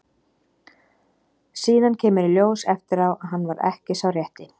Síðan kemur í ljós eftir á að hann var ekki sá rétti.